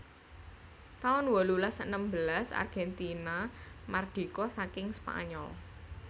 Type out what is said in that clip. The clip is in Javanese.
taun wolulas enem belas Argentina mardika saking Spanyol